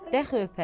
Dəxi öpər.